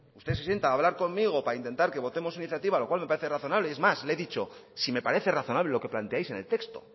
usted se sienta para hablar conmigo para intentar que votemos su iniciativa lo cual me parece razonable es más le he dicho si me parece razonable lo que planteáis en el texto